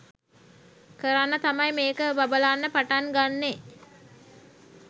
කරන්න තමයි මේක බබලන්න පටන් ගන්නෙ